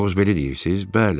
Qoz belə deyirsiz?